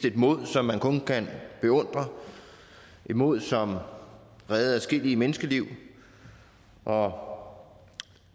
et mod som man kun kan beundre et mod som reddede adskillige menneskeliv og